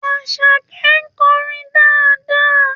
Àṣàkẹ́ ń kọrin dáadáa